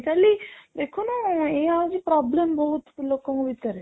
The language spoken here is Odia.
କାଲି ଦେଖୁନୁ ଏଇଆ ହଉଚି problem ବହୁତ ଲୋକ ଙ୍କ ଭିତେର